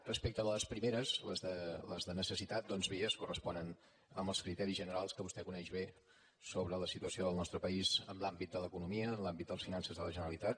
respecte a les primeres les de necessitat doncs bé es corresponen amb els criteris generals que vostè coneix bé sobre la situació del nostre país en l’àmbit de l’economia en l’àmbit de les finances de la generalitat